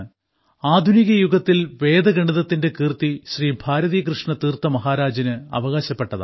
ആധുനിക യുഗത്തിൽ വേദഗണിതത്തിന്റെ കീർത്തി ശ്രീ ഭാരതി കൃഷ്ണ തീർത്ഥ മഹാരാജിന് അവകാശപ്പെട്ടതാണ്